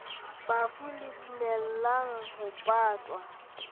bafu le dumellang ho patwa